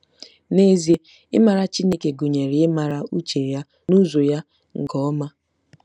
N'ezie ịmara Chineke gụnyere ịmara uche ya na ụzọ ya nke ọma.